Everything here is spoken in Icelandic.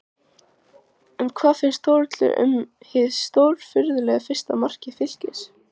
En hvað fannst Þórhildi um hið stórfurðulega fyrsta mark Fylkis?